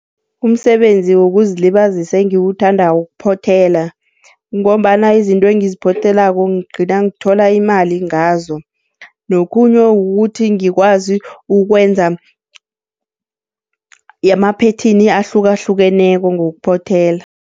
Umsebenzi wokuzilibazisa engiwuthandako kuphothela, ngombana izinto engiziphothelako ngigcina ngithola imali ngazo. Nokhunye kukuthi ngikwazi ukwenza amaphethini ahlukahlukeneko ngokuphothela.